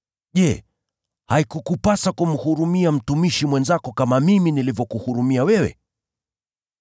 Je, haikukupasa kumhurumia mtumishi mwenzako kama mimi nilivyokuhurumia wewe?’